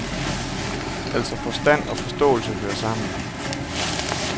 Altså, forstand og forståelse hører sammen.